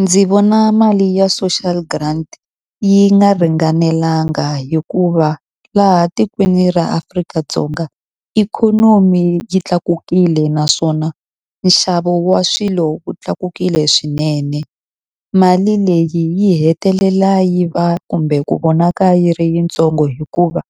Ndzi vona mali ya social grant yi nga ringanelanga hikuva laha tikweni ra Afrika-Dzonga ikhonomi yi tlakukile naswona nxavo wa swilo wu tlakukile swinene. Mali leyi yi hetelela yi va kumbe ku vonaka yi ri yitsongo hikuva,